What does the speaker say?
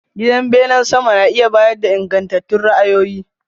Gidan bene sama na iya bayar da ingantattun ra'ayoyi.